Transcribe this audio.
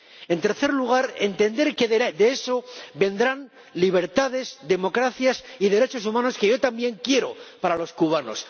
En tercer lugar, entender que de esto vendrán libertades, democracia y derechos humanos, que yo también quiero para los cubanos.